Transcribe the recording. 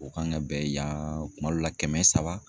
O kan ka bɛn yan kuma dɔ la kɛmɛ saba